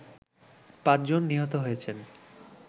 ৫ জন নিহত হয়েছেন